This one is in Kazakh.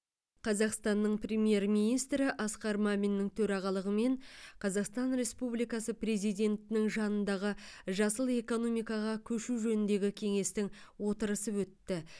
қазақстанның премьер министрі асқар маминнің төрағалығымен қазақстан республикасы президентінің жанындағы жасыл экономикаға көшу жөніндегі кеңестің отырысы өтті